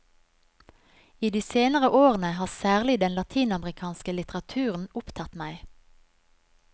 I de senere årene har særlig den latinamerikanske litteraturen opptatt meg.